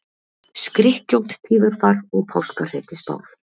Skrykkjótt tíðarfar og páskahreti spáð